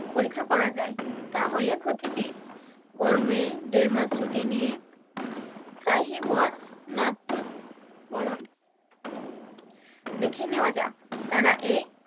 পরীক্ষা করা যায় তাহলে ক্ষতি কি? গরমে দেড়মাস ছুটি নিয়ে দেখে নেয়া যাক তারা এই